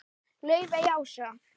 Laufey Ása.